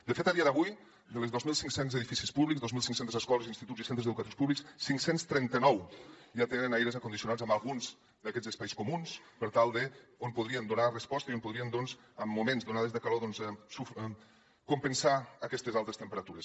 de fet a dia d’avui dels dos mil cinc cents edificis públics dos mil cinc cents escoles instituts i centres educatius públics cinc cents i trenta nou ja tenen aires condicionats en alguns d’aquests espais comuns on podrien donar resposta i on podrien doncs en moments d’onades de calor compensar aquestes altes temperatures